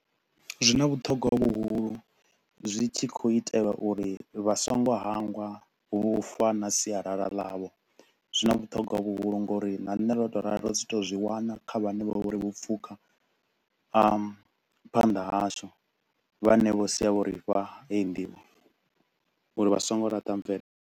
Zwi na vhuṱhogwa vhuhulu zwi tshi kho u itelwa uri vha so ngo hangwa vhu fa na sialala ḽavho zwi na vhuṱhogwa vhuhulu ngauri na nṋe ro to u ralo ri si to u zwi wana kha vhane vho uri vho pfukha phanḓa hashu vhane vho sia vho ri fha heyi nḓivho uri vha so ngo ḽaṱa mvele.